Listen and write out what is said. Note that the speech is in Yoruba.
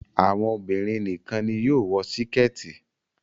Àwọn obìrin nìkan ní yóò wò Síkẹ́tì.